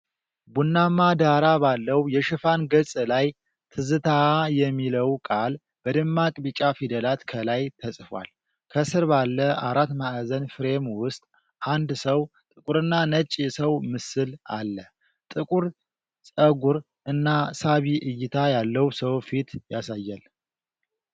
ቡናማ ዳራ ባለው የሽፋን ገጽ ላይ፣ "ትዝታ" የሚለው ቃል በደማቅ ቢጫ ፊደላት ከላይ ተጽፏል። ከስር ባለ አራት ማዕዘን ፍሬም ውስጥ አንድ ጥቁርና ነጭ የሰው ምስል አለ። ጥቁር ፀጉር እና ሳቢ እይታ ያለው ሰው ፊት ያሳያል።